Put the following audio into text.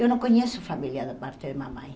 Eu não conheço a família da parte de mamãe.